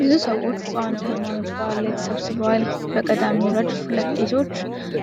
ብዙ ሰዎች በአንድ የሃይማኖት በዓል ላይ ተሰብስበዋል። በቀዳሚው ረድፍ ሁለት ቄሶች